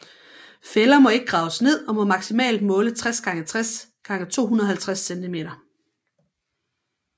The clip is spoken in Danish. Fælder må ikke graves ned og må maksimalt måle 60 x 60 x 250 centimeter